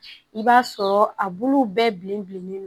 I b'a sɔrɔ a bulu bɛɛ bilen bilennen don